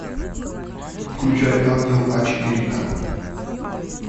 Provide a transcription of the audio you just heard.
включай ангел а четыре ка